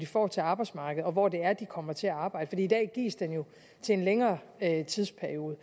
får til arbejdsmarkedet og hvor de kommer til at arbejde for i dag gives den jo til en længere tidsperiode